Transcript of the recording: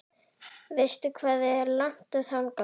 Veistu hvað er langt þangað?